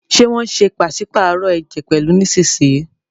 Ṣe wón ṣe paṣipaarọ ẹjẹ pẹlu nísìsiyìí?